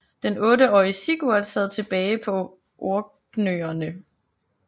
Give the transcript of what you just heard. Den otteårige Sigurd sad tilbage på Orknøerne